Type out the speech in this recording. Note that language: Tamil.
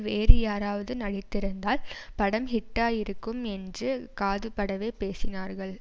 வேறு யாராவது நடித்திருந்தால் படம் ஹிட்டாயிருக்கும் என்று காதுபடவே பேசினார்கள்